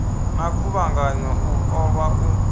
na khuvhanganyo u ṱolwa u